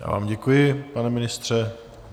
Já vám děkuji, pane ministře.